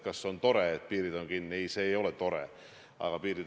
Kas on teil mingisugune tärmin öelda?